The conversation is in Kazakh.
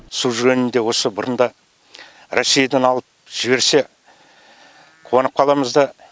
су жөнінде осы бұрында россиядан алып жіберсе қуанып қаламыз да